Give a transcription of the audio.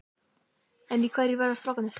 En í hverju verða strákarnir?